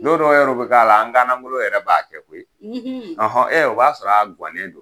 N don dɔw yɛrɛ bɛ k'a la an ganagolo yɛrɛ b'a kɛ koyi; ; o b'a sɔrɔ a guannen don.